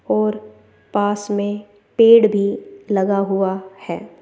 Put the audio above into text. और पास में पेड़ भी लगा हुआ है।